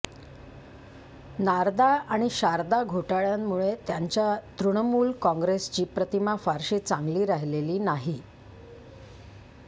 नारदा आणि शारदा घोटाळय़ांमुळे त्यांच्या तृणमूल काँग्रेसची प्रतिमा फारशी चांगली राहिलेली नाही